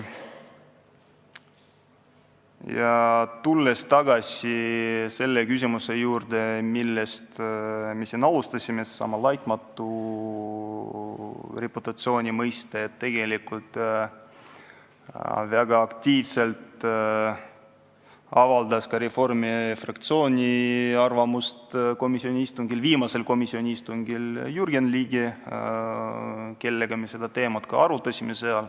Aga tulles tagasi selle küsimuse juurde, millest me alustasime, siis "laitmatu reputatsiooni" mõiste kohta avaldas viimasel komisjoni istungil väga aktiivselt arvamust Reformierakonna fraktsiooni esindav Jürgen Ligi, kellega me seda teemat ka seal arutasime.